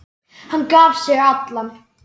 Hann gaf sig allan.